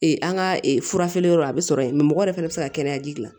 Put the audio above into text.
an ka fura feere yɔrɔ a bɛ sɔrɔ yen mɛ mɔgɔ yɛrɛ fɛnɛ bɛ se ka kɛnɛya ji dilan